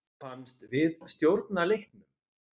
Mér fannst við stjórna leiknum.